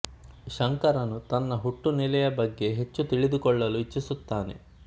ಶಂಕರನು ತನ್ನ ಹುಟ್ಟುನೆಲೆಯ ಬಗ್ಗೆ ಹೆಚ್ಚು ತಿಳಿದು ಕೊಳ್ಳಲು ಇಚ್ಚಿಸುತ್ತಾನೆ